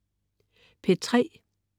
P3: